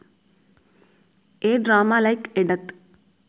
A drama like a death